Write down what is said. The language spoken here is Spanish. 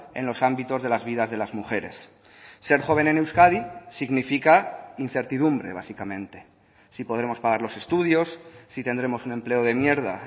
en los ámbitos de las vidas de las mujeres ser joven en euskadi significa incertidumbre básicamente si podremos pagar los estudios si tendremos un empleo de mierda